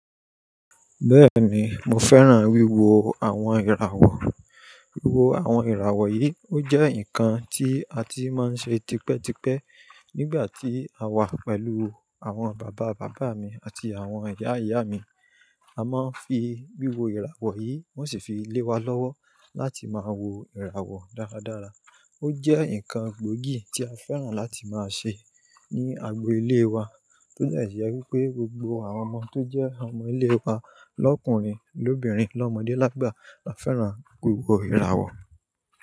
Bẹ́ẹ̀ni, mo fẹ́ràn wíwo àwọn ìràwọ̀. Wíwo àwọn ìràwọ̀ yìí ó jẹ́ nǹkan tí a ti máa ń ṣe tipẹ́tipẹ́ nígbà tí a wà pẹ̀lú àwọn bàbá bàbá mi àti àwọn ìyá ìyá mi. A máa ń fi wíwo ìràwọ̀ yìí, wón sì fi lé wa lọ́wọ́ láti máa wo ìràwọ̀ dáradára. Ó jẹ́ nǹkan gbóògì tí a fẹ́ràn láti máa ṣe ní agbo ilé wa, tó jẹ́ ìṣẹ́ pé gbogbo àwọn ọmọ tó jẹ́ ọmọ ilé wa lọkùnrin, lóbìnrin, lọ́mọdé lágbà máa ń fẹ́ràn wíwo ìràwọ̀